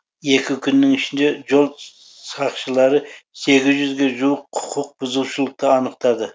екі күннің ішінде жол сақшылары сегіз жүзге жуық құқық бұзушылықты анықтады